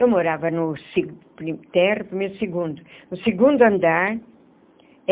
Eu morava no térreo primeiro segundo no segundo andar.